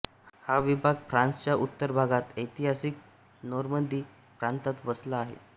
हा विभाग फ्रान्सच्या उत्तर भागात ऐतिहासिक नोर्मंदी प्रांतात वसला आहे